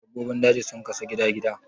dabbobin daji sun kasu gida-gida